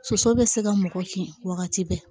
Soso bɛ se ka mɔgɔ kiin wagati bɛɛ